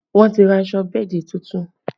Wọ́n ti ra aṣọ bẹ́ẹ̀dì tuntun